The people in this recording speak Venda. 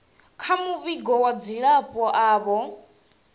kha muvhigo wa dzilafho avho